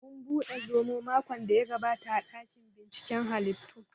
Mun buɗe zomo makon daya gabata a ɗakin binciken hallitu w